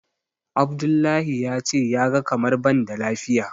Abdullahi ya ce ya ga kamar ban da lafiya.